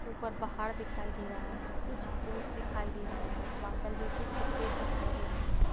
ऊपर पहाड़ दिखाई दे रहा है कुछ ओस दिखाई दे रहे है बादल बिलखुल सफ़ेद दिखाई दे रही है।